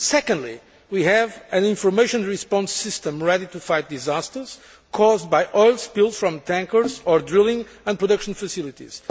Secondly, we have an information response system ready to fight disasters caused by oil spills from tankers or drilling and production facilities.